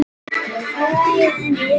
Hún er lokuð og læst.